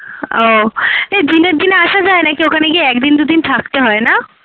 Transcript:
ও এই দিনে দিনে আসা যায় নাকি ওখানে গিয়ে একদিন দুদিন থাকতে হয় না?